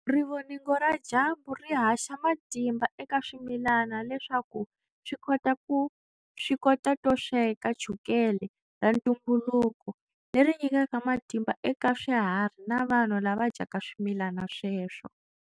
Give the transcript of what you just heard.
Rivoningo ra dyambu ri haxa matimba eka swimilana leswaku swi kota to sweka chukele ra ntumbuluko leri nyikaka matimba eka swiharhi na vanhu lava dyaka swimilana sweswo.